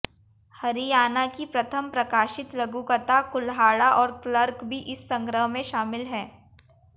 हरियाणा की प्रथम प्रकाशित लघुकथा कुल्हाड़ा और क्लर्क भी इस संग्रह में शामिल है